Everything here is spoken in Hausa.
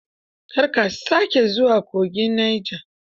Kar ka sake zuwa kogin Neja.